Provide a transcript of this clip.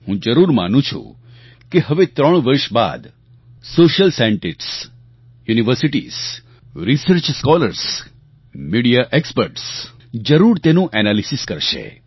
હું જરૂર માનું છું કે હવે ત્રણ વર્ષ બાદ social scientists universities research scholars media experts જરૂર તેનું એનાલિસીસ કરશે